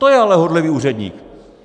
To je ale horlivý úředník!